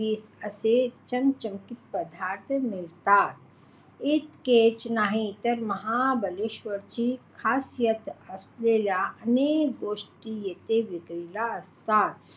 असे चमचमीत पदार्थ मिळतात. इतकेच नाहीतर महाबळेश्वरची खासियत असलेल्या अनेक गोष्टी येथे विक्रीला असतात.